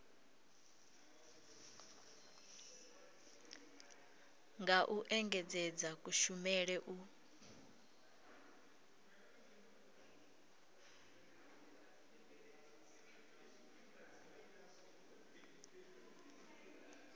nga u engedzedza kushumele u